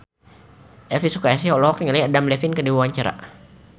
Elvi Sukaesih olohok ningali Adam Levine keur diwawancara